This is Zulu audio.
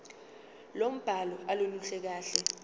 lombhalo aluluhle kahle